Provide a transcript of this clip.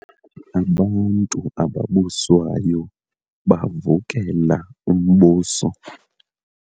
Abantu ababuswayo bavukela umbuso.